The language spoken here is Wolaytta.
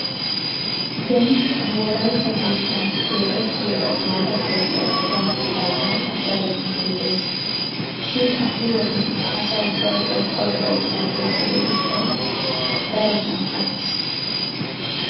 Beni nu wolaytta biittan keexettiya maata keettay asaassi daanawu daro injjetees. Shin ha"i wode asa ubbay qorqqoro keetta keexxo gishshawu darosan attiis.